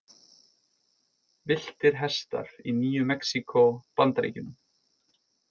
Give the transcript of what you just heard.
Villtir hestar í Nýju-Mexíkó, Bandaríkjunum.